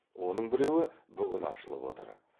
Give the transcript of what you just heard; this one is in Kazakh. оның біреуі бүгін ашылып отыр